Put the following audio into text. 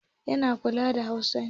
Yana kallon NTA Hausa ne.